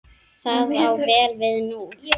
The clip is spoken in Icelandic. Það á vel við núna.